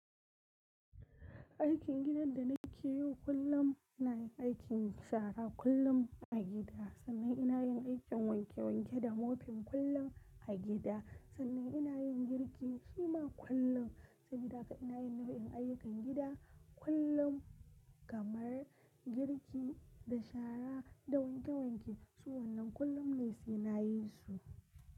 Aikin gidan da nake yi kullum ina yin aikin shara kullum a gida, sannan ina yin aikin wanke wanke da mofin kullum a gida, sannan ina yin girki shima kullum a gida. Ina yin nau'in ayyukan gida kullum kamar girki da shara da wanke wanke. Su wannan kullum ne sai na yi su.